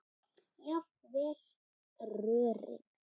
jafnvel rörin.